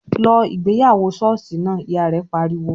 "Lọ ìgbéyàwó ṣọ́ọ̀ṣì náà!", Ìyá rẹ̀ pariwo